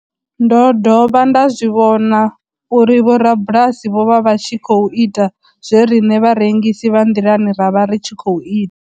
Ndo dovha nda zwi vhona uri vhorabulasi vho vha vha tshi khou ita zwe riṋe vharengisi vha nḓilani ra vha ri tshi khou ita.